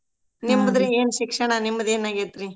ನಿಮ್ದ್ ಏನ್ ಶಿಕ್ಷಣಾ ನಿಮ್ದ್ ಏನ್ ಆಗೇತ್ರೀ?